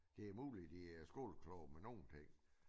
Det muligt de er skolekloge med nogen ting